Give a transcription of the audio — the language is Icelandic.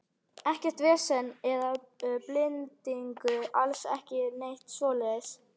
Ekkert vesen eða bindingu, alls ekki neitt svoleiðis.